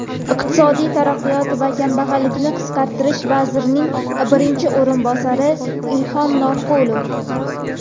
iqtisodiy taraqqiyot va kambag‘allikni qisqartirish vazirining birinchi o‘rinbosari Ilhom Norqulov,.